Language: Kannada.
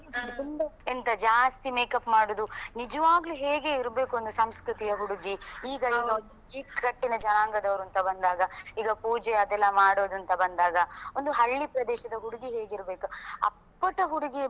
ತುಂಬಾ ಎಂತ ಜ್ಯಾಸ್ತಿ makeup ಮಾಡುದು ನಿಜವಾಗಲು ಹೇಗೆ ಇರ್ಬೇಕು ಅಂತ ಸಂಸ್ಕೃತಿಯಾ ಹುಡುಗಿ ಈಗ ಈಗ ಈ ಕಟ್ಟಿನ ಜನಾಂಗದವರು ಅಂತ ಬಂದಾಗ ಈಗ ಪೂಜೆ ಅದೆಲ್ಲಾ ಮಾಡುದಂತ ಬಂದಾಗ ಒಂದು ಹಳ್ಳಿ ಪ್ರದೇಶದ ಹುಡುಗಿ ಹೇಗೆ ಇರ್ಬೇಕು ಅಪ್ಪಟ ಹುಡುಗಿ,